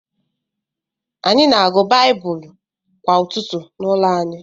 Anyị na-agụ Baịbụl kwa ụtụtụ n’ụlọ anyị.